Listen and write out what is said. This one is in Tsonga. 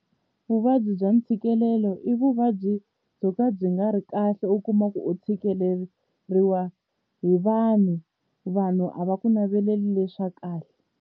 Vuvabyi bya ntshikelelo i vuvabyi byo ka byi nga ri kahle u kuma ku u tshikeleriwa hi vanhu vanhu a va ku naveleli leswa kahle.